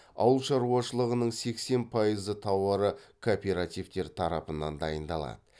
ауылшаруашылығының сексен пайызы тауары кооперативтер тарапынан дайындалады